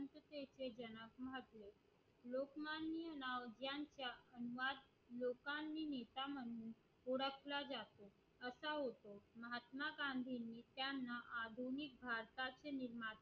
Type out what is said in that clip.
कसा होतो महात्मा गांधींनी त्यांना आधुनिक भारताचे निर्माते